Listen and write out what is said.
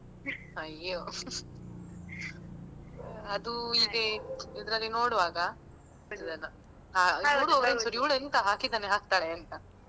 ಅಯ್ಯೋ ಅದು ಹೀಗೆ ಇದ್ರಲ್ಲಿ ನೋಡುವಾಗ . ಇವ್ಳು ಎಂತ ಹಾಕಿದನ್ನೆ ಹಾಕ್ತಾಳೆ ಅಂತ.